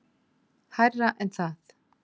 Hærra en það.